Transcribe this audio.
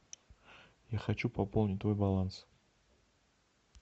я хочу пополнить твой баланс